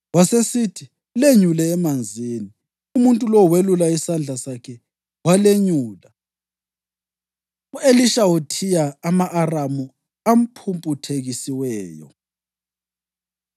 Wasesithi, “Lenyule emanzini.” Umuntu lowo welula isandla sakhe walenyula. U-Elisha Uthiya Ama-Aramu Aphumputhekisiweyo